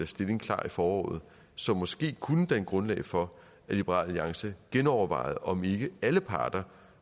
stilling klar i foråret som måske kunne danne grundlag for at liberal alliance genovervejede om ikke alle parter